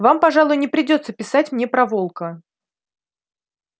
вам пожалуй не придётся писать мне про волка